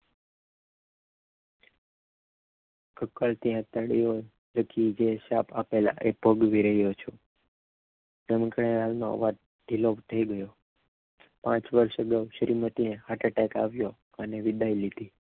કકડતી આતરડી આંખે લખી આપેલા શ્રાપ એ પગ વર્યલો છું અવાજ થી લોક થઈ ગયો પાંચ વર્ષ શ્રીમતી ને હાર્ટ એટેક આવ્યો અને વિદાય લીધી